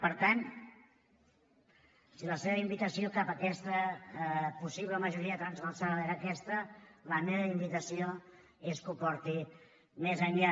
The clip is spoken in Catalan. per tant si la seva invitació cap a aquesta possible majoria transversal era aquesta la meva invitació és que ho porti més enllà